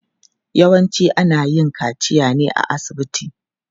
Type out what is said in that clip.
Yawanci ana yin kaciya ne a asibiti.